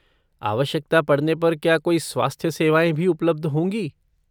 आवश्यकता पड़ने पर क्या कोई स्वास्थ्य सेवाएँ भी उपलब्ध होंगी?